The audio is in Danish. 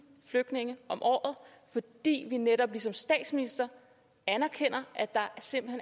flygtninge om året fordi vi netop ligesom statsministeren erkender at der simpelt